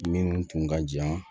Minnu tun ka jan